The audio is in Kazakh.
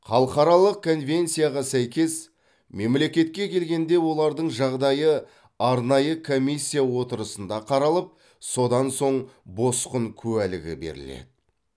халықаралық конвенцияға сәйкес мемлекетке келгенде олардың жағдайы арнайы комиссия отырысында қаралып содан соң босқын куәлігі беріледі